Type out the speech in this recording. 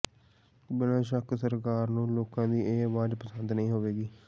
ਬਿਨ੍ਹਾਂ ਸ਼ੱਕ ਸਰਕਾਰ ਨੂੰ ਲੋਕਾਂ ਦੀ ਇਹ ਆਵਾਜ਼ ਪਸੰਦ ਨਹੀਂ ਹੋਏਗੀ